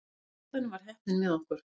Í endanum var heppnin með okkur.